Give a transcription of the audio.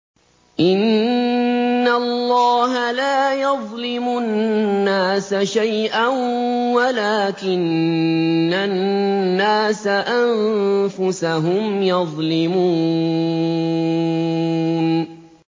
إِنَّ اللَّهَ لَا يَظْلِمُ النَّاسَ شَيْئًا وَلَٰكِنَّ النَّاسَ أَنفُسَهُمْ يَظْلِمُونَ